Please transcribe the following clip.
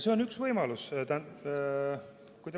See on üks võimalus.